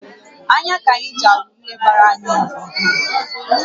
Anya ka anyị ji ahụ ihe gbara anyị gburugburu